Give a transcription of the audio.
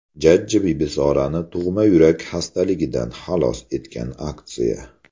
Jajji Bibisorani tug‘ma yurak xastaligidan xalos etgan aksiya.